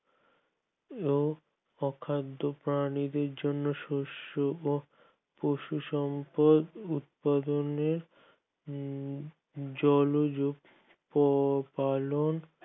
ও অখাদ্য প্রাণীদের জন্য শস্য ও পশু সম্পদ উৎপাদনে জনজ পালন